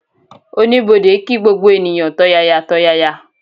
Oníbodè kí gbogbo ènìyàn tọ̀yàyàtọ̀yàyà